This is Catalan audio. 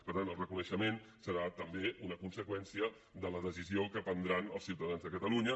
per tant el reconeixement serà també una conseqüència de la decisió que prendran els ciutadans de catalunya